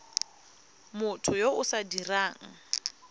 motho yo o sa dirang